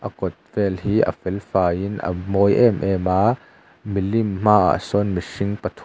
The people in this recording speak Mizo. a kawt vel hi a fel faiin a mawi em em a milim hmaah sawn mu pathum--